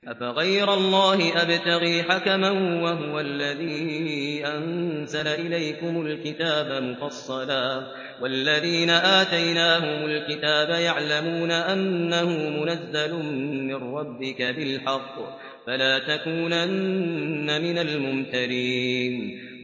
أَفَغَيْرَ اللَّهِ أَبْتَغِي حَكَمًا وَهُوَ الَّذِي أَنزَلَ إِلَيْكُمُ الْكِتَابَ مُفَصَّلًا ۚ وَالَّذِينَ آتَيْنَاهُمُ الْكِتَابَ يَعْلَمُونَ أَنَّهُ مُنَزَّلٌ مِّن رَّبِّكَ بِالْحَقِّ ۖ فَلَا تَكُونَنَّ مِنَ الْمُمْتَرِينَ